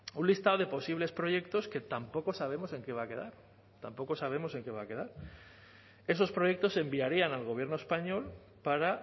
un listado de posibles proyectos que tampoco sabemos en qué va a quedar tampoco sabemos en qué va a quedar esos proyectos se enviarían al gobierno español para